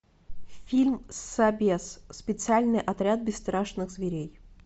фильм собез специальный отряд бесстрашных зверей